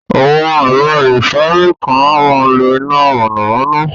Awọn ẹ̀rọ̀ ifárí kan à màá ń lọ iná mọ̣namọ̣na.